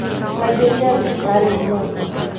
maingĩrire thibitarĩ ũmũthĩ